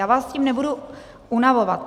Já vás s tím nebudu unavovat.